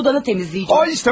Heç nə, otağını təmizləyəcəyəm.